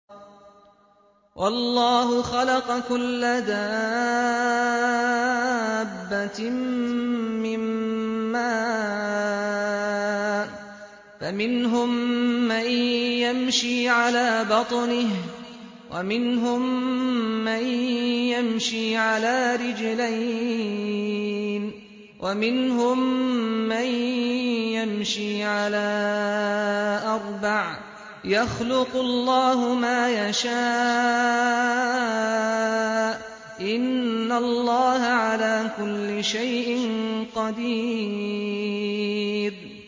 وَاللَّهُ خَلَقَ كُلَّ دَابَّةٍ مِّن مَّاءٍ ۖ فَمِنْهُم مَّن يَمْشِي عَلَىٰ بَطْنِهِ وَمِنْهُم مَّن يَمْشِي عَلَىٰ رِجْلَيْنِ وَمِنْهُم مَّن يَمْشِي عَلَىٰ أَرْبَعٍ ۚ يَخْلُقُ اللَّهُ مَا يَشَاءُ ۚ إِنَّ اللَّهَ عَلَىٰ كُلِّ شَيْءٍ قَدِيرٌ